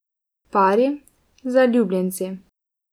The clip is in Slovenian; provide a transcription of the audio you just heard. Pari, zaljubljenci.